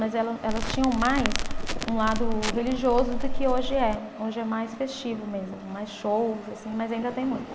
Mas ela, elas tinham mais um lado religioso do que hoje é. Hoje é mais festivo mesmo, mais shows assim, mas ainda tem muito.